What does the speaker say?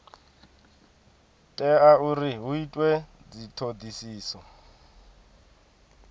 tea uri hu itwe dzithodisiso